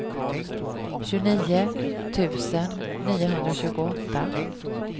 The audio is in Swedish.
tjugonio tusen niohundratjugoåtta